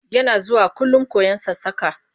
Yana zuwakullum koyon sassaƙa.